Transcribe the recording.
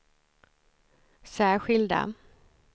särskilda